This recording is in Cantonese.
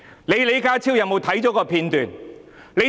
李家超看過有關片段嗎？